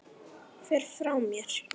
Fer frá mér.